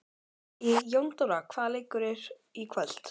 Jóndóra, hvaða leikir eru í kvöld?